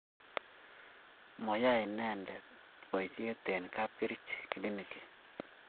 mayei inete boisie eng' kapkerich( kilinikit)